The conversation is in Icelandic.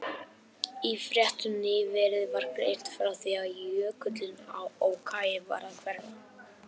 Í fréttum nýverið var greint frá því að jökullinn á Oki væri að hverfa.